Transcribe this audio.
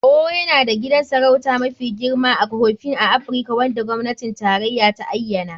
Owo yana da gidan sarauta mafi girma (Aghofen) a Afirka wanda gwamnatin tarayya ta ayyana.